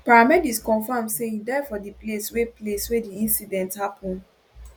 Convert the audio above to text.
paramedics confam say im die for di place wey place wey di incident happun